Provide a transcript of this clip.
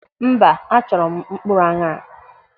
Mba, achọrọ m mkpụrụ aṅara.